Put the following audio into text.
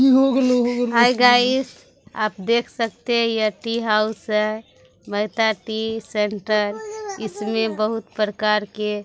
हाय guys आप देख सकते ये टी हाउस है महेता टी सेंटर इसमें बहुत प्रकार के--